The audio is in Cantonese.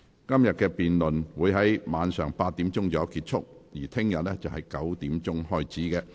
今天的辯論會在晚上8時左右結束，而明天的辯論會在上午9時開始。